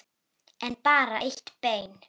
En bara eitt bein.